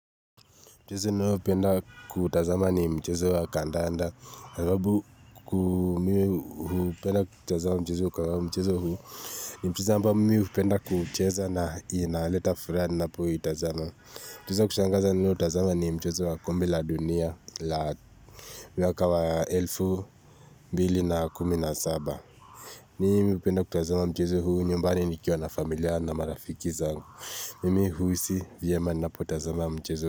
Mchezo ninaopenda kutazama ni mchezo wa kandanda. Sababu kuu mimi hupenda kutazama mchezo kwa mchezo huu. Ni mchezo ambao mimi hupenda kucheza na unaleta furaha ninapoutazama. Mchezo kushangaza ninaotazama ni mchezo wa kombe la dunia la mwaka wa elfu mbili na kumi na saba. Mimi hupenda kutazama mchezo huu nyumbani nikiwa na familia na marafiki zangu. Mimi hujihisi vyema ninapotazama mchezo.